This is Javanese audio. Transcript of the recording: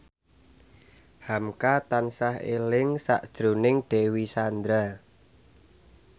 hamka tansah eling sakjroning Dewi Sandra